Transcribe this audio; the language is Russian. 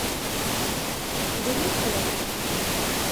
у тебя есть пила три